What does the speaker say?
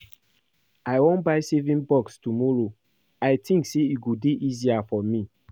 I wan buy saving box tomorrow I think say e go dey easier for me